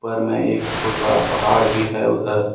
घर में एक बहुत बड़ा पहाड़ भी है उधर।